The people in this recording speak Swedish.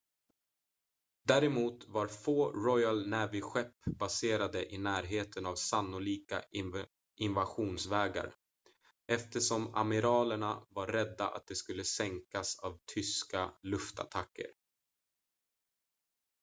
däremot var få royal navy-skepp baserade i närheten av sannolika invasionsvägar eftersom amiralerna var rädda att de skulle sänkas av tyska luftattacker